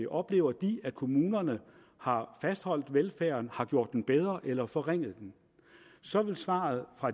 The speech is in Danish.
oplever de at kommunerne har fastholdt velfærden har gjort den bedre eller har forringet den så vil svaret fra